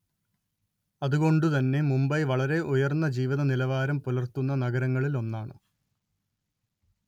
അതുകൊണ്ടു തന്നെ മുംബൈ വളരെ ഉയര്‍ന്ന ജീവിത നിലവാരം പുലര്‍ത്തുന്ന നഗരങ്ങളില്‍ ഒന്നാണ്‌